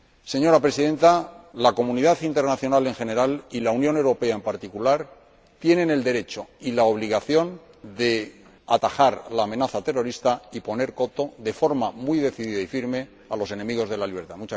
Señora Presidenta, la comunidad internacional en general y la Unión Europea en particular tienen el derecho y la obligación de atajar la amenaza terrorista y poner coto, de forma muy decidida y firme, a los enemigos de la libertad.